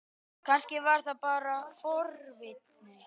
Kannski var það bara forvitni.